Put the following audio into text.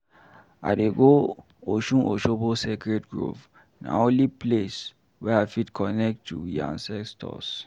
I dey go Osun-Osogbo Sacredd Grove, na holy place wey I fit connect to we ancestors.